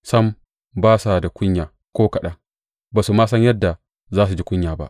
Sam, ba su da kunya ko kaɗan; ba su ma san yadda za su ji kunya ba.